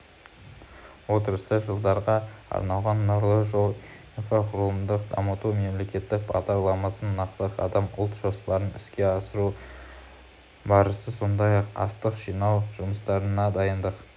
отырыста жылдарға арналған нұрлы жол инфрақұрылымды дамыту мемлекеттік бағдарламасын нақты қадам ұлт жоспарын іске асыру барысы сондай-ақ астық жинау жұмыстарына дайындық